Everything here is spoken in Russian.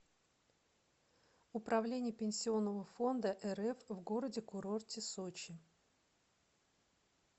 управление пенсионного фонда рф в городе курорте сочи